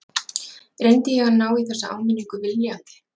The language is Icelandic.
Reyndi ég að ná í þessa áminningu viljandi?